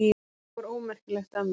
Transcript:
Það var ómerkilegt af mér.